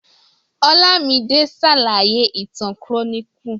Olámidé ṣàlàyé ìtàn chloroquine.